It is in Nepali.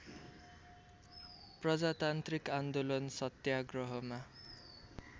प्रजातान्त्रिक आन्दोलन सत्याग्रहमा